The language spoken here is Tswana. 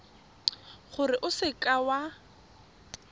gore o seka w a